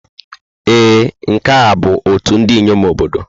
Ee, nke a bụ ọtú ndị inyom obodo.